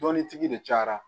Dɔnnitigi de cayara